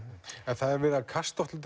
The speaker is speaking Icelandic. en það er verið að kasta